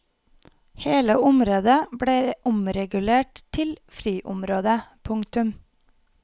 Hele området ble omregulert til friområde. punktum